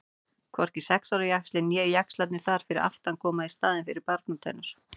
Hvorki sex ára jaxlinn né jaxlarnir þar fyrir aftan koma í staðinn fyrir barnatennur.